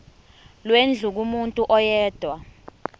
lwendlu kumuntu oyedwa